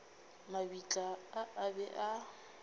mabitla a a be a